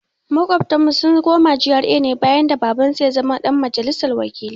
Maƙotanmu sun koma GRA bayan da Babansu ya zama ɗan majalisar wakilai.